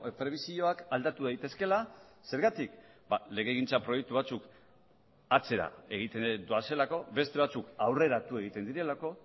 prebisioak aldatu daitezkeela zergatik legegintza proiektu batzuk atzera egiten doazelako beste batzuk aurreratu egiten direlako